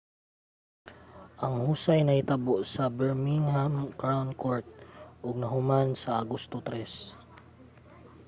ang husay nahitabo sa birmingham crown court ug nahuman sa agosto 3